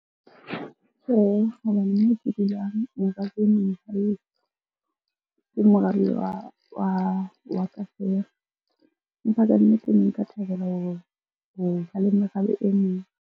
Tjhehe, hobane ke dulang morabe wa ka feela. Empa kannete ne nka thabela ho ba le merabe e meng.